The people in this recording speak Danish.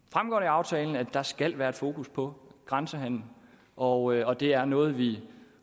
aftalen at der skal være et fokus på grænsehandelen og og det er noget vi